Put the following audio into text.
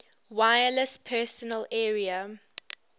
wireless personal area